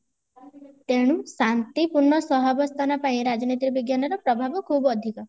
ତେଣୁ ଶାନ୍ତିପୂର୍ଣ ସହାବସ୍ଥାନ ପାଇଁ ରାଜନୈତିକ ବିଜ୍ଞାନର ପ୍ରଭାବ ଖୁବ ଅଧିକ